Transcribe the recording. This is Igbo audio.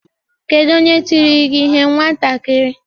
Kedu onye tiri gị ihe nwatakịrị?